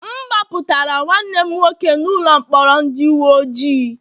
M gbapụtara nwanne m nwoke n'ụlọ mkpọrọ ndị uwe ojii